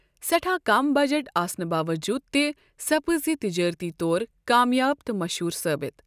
سیٚٹھاہ کم بَجٹ آسنہٕ باوجوٗد تہِ سپٕزیہِ تِجٲرتی طور کامیاب تہٕ مشہوٗر ثٲبِت۔